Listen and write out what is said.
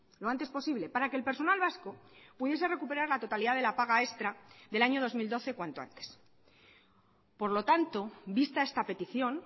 lo antes posible para que el personal vasco pudiese recuperar la totalidad de la paga extra del año dos mil doce cuanto antes por lo tanto vista esta petición